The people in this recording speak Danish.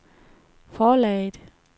forlaget